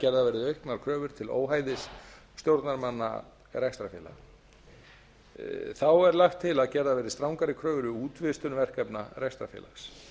gerðar verði auknar kröfur til óhæfis stjórnarmanna rekstrarfélaga í fimmta lagi er lagt til að gerðar verði strangari kröfur við útvistun verkefna rekstrarfélags